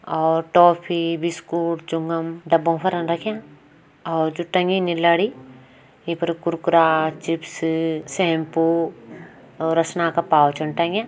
और toffee biscuit chewing gum डब्बों पर रन रख्यां और जु टंगीन ईं लड़ी ईं पर कुरकुरा चिप्स शैम्पू और रसना का पाउचन टंग्या।